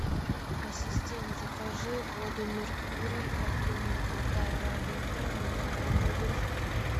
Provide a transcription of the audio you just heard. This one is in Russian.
ассистент закажи воду меркурий объемом полтора литра минеральную